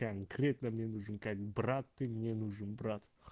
конкретно мне нужен как брат ты мне нужен брат